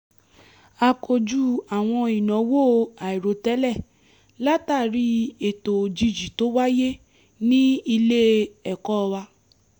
a kojú àwọn ìnáwó àìròtẹ́lẹ̀ látàri ètò òjijì tó wáyé ní ilé-ẹ̀kọ́ wa